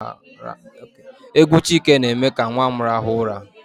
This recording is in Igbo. Égwú Chike na-eme ka nwa m raha ụra.